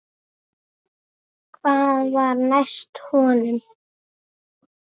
Hvað var næst honum?